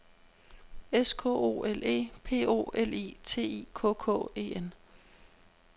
S K O L E P O L I T I K K E N